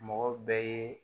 Mɔgɔ bɛɛ ye